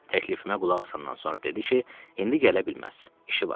Təklifimə qulaq asandan sonra dedi ki, indi gələ bilməz, işi var.